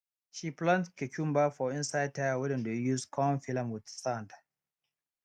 she plant cucumber for inside tyre wey dem don use con fill am with sand